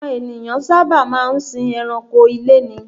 Àwọn ènìyàn sáábà máa sìn ẹranko ilé ni